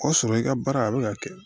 O y'a sɔrɔ i ka baara a bɛ ka kɛ